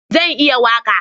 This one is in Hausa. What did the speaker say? Zan iya waƙa